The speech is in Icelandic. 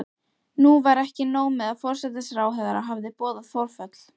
Nú var ekki nóg með að forsætisráðherra hafði boðað forföll.